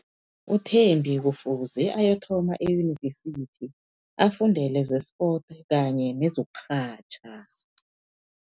UThembi kufuze ayokuthoma eyunivesithi afundele ze-sport kanye nezokurhatjha.